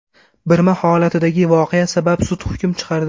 Birma holatidagi voqea sabab sud hukm chiqardi.